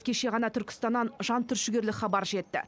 кеше ғана түркістаннан жантүршігерлік хабар жетті